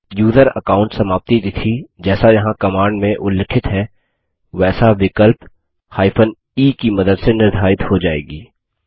user account समाप्ति तिथि जैसा यहाँ कमांड में उल्लिखित है वैसा विकल्प e की मदद से निर्धारित हो जाएगी